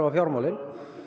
fjármálin